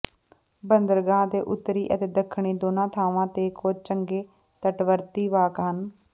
ਬੰਦਰਗਾਹ ਦੇ ਉੱਤਰੀ ਅਤੇ ਦੱਖਣੀ ਦੋਨਾਂ ਥਾਵਾਂ ਤੇ ਕੁਝ ਚੰਗੇ ਤਟਵਰਤੀ ਵਾਕ ਹਨ